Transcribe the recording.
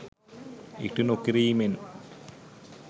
ඉටු නොකිරීමෙන්